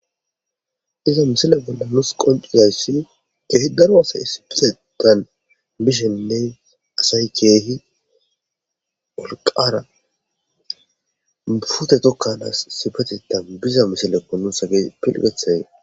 iza misila bolla nus qonciyayssi keehi daro asay isipitetan bishenne asay keehi wolqaara fute tokkanaas isibatitan biza misileko nus hagey pilgethayee